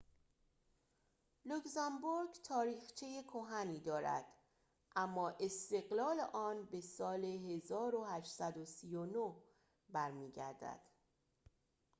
لوکزامبورگ تاریخچه کهنی دارد اما استقلال آن به سال ۱۸۳۹ برمی‌گردد